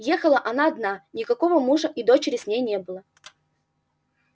ехала она одна никакого мужа и дочери с ней не было